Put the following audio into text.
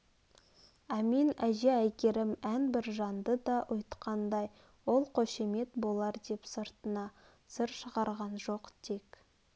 әмин әже әйгерім ән біржанды да ұйтқандай ол қошемет болар деп сыртына сыр шығарған жоқ тек